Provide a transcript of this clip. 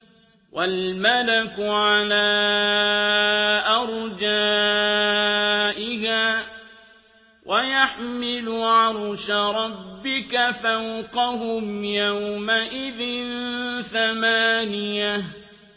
وَالْمَلَكُ عَلَىٰ أَرْجَائِهَا ۚ وَيَحْمِلُ عَرْشَ رَبِّكَ فَوْقَهُمْ يَوْمَئِذٍ ثَمَانِيَةٌ